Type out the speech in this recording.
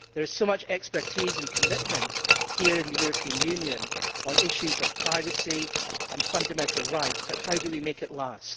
There is so much expertise and commitment here in the European Union on issues of privacy and fundamental rights but how do we make it last?